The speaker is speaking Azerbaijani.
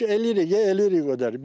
Ödəniş eləyirik, eləyirik ödəniş.